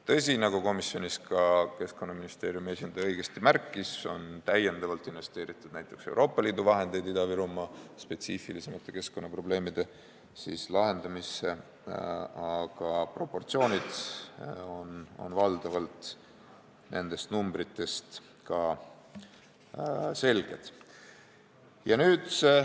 Tõsi, nagu Keskkonnaministeeriumi esindaja komisjonis õigesti märkis, on näiteks Euroopa Liidu vahendeid täiendavalt investeeritud Ida-Virumaa spetsiifilisemate keskkonnaprobleemide lahendamisse, aga proportsioonid on nendest numbritest valdavalt selged.